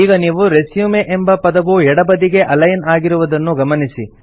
ಈಗ ನೀವು ರೆಸ್ಯೂಮ್ ಎಂಬ ಪದವು ಎಡಬದಿಗೆ ಅಲೈನ್ ಆಗಿರುವುದನ್ನು ಗಮನಿಸಿ